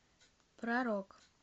про рок